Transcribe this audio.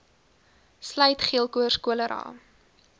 sluit geelkoors cholera